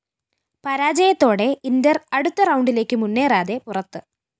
പരാജയത്തോടെ inter അടുത്ത റൗണ്ടിലേക്ക് മുന്നേറാതെ പുറത്ത്